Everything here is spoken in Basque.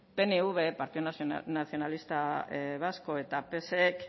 pnv partido nacionalista vasco eta psek